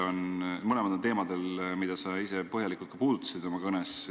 Mõlemad on teemadel, mida sa oma kõnes põhjalikult puudutasid.